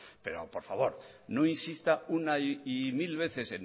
pero por favor no insista una y mil veces